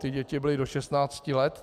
Ty děti byly do 16 let.